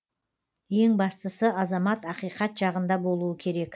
ең бастысы азамат ақиқат жағында болуы керек